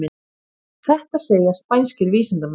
Þetta segja spænskir vísindamenn